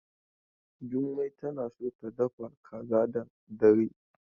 Jummai tana so ta dafa kaza da dare.